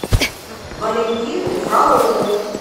валентину фролову